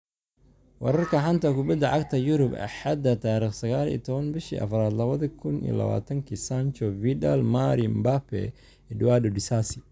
Wararka xanta kubada cagta Yurub Axada 19.04.2020: Sancho, Vidal, Mari, Mbappe, Edouard, Disasi